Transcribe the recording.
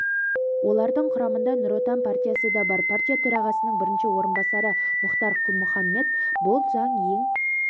олардың құрамында нұр отан партиясы да бар партия төрағасының бірінші орынбасары мұхтар құлмұхаммед бұл заң ең